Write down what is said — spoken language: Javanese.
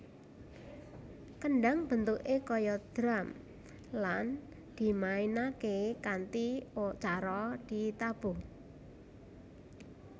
Kendhang bentuké kaya drum lan dimainaké kanthi cara ditabuh